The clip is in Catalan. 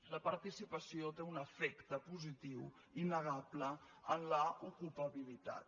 la participació té un efecte positiu innegable en l’ocupabilitat